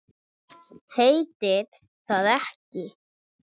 Heitir það ekki